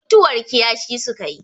mutuwar kiyashi suka yi